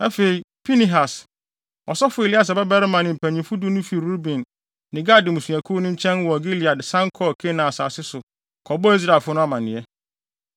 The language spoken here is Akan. Afei, Pinehas, ɔsɔfo Eleasar babarima ne mpanyimfo du no fii Ruben ne Gad mmusuakuw no nkyɛn wɔ Gilead san kɔɔ Kanaan asase so kɔbɔɔ Israelfo no amanneɛ.